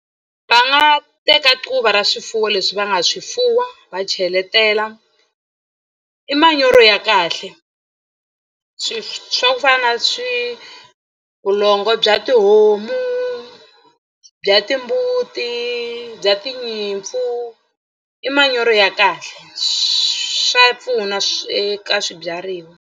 Va nga teka quva ra swifuwo leswi va nga swi fuwa va cheletela i manyoro ya kahle swi swa ku fana na swi vulongo bya tihomu, bya timbuti, bya tinyimpfu i manyoro ya kahle swa pfuna swi eka swibyariwa.